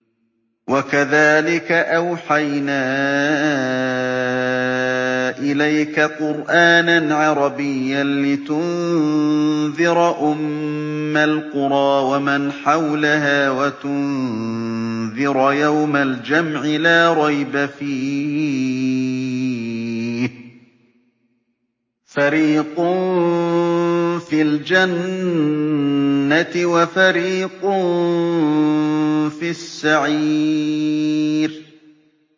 وَكَذَٰلِكَ أَوْحَيْنَا إِلَيْكَ قُرْآنًا عَرَبِيًّا لِّتُنذِرَ أُمَّ الْقُرَىٰ وَمَنْ حَوْلَهَا وَتُنذِرَ يَوْمَ الْجَمْعِ لَا رَيْبَ فِيهِ ۚ فَرِيقٌ فِي الْجَنَّةِ وَفَرِيقٌ فِي السَّعِيرِ